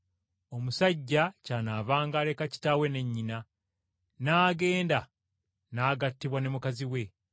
Omusajja ky’anaavanga aleka kitaawe ne nnyina, n’agenda n’agattibwa ne mukazi we.